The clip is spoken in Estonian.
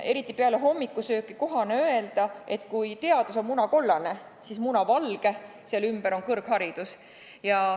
Eriti peale hommikusööki on kohane öelda, et kui teadus on munakollane, siis munavalge selle ümber on kõrgharidus.